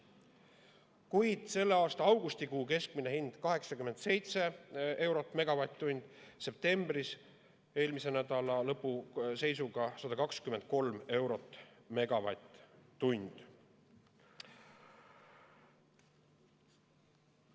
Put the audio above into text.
Kuid selle aasta augustikuu keskmine hind oli 87 eurot megavatt-tunni eest, septembris, eelmise nädala lõpu seisuga 123 eurot megavatt-tunni eest.